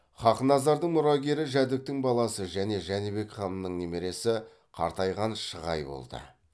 хақназардың мұрагері жәдіктің баласы және жәнібек ханның немересі қартайған шығай болды